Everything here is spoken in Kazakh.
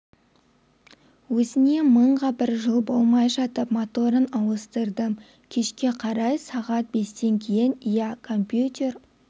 өзіне мыңға бір жыл болмай жатып моторын ауыстырдым кешке қарай сағат бестен кейін ия компьютер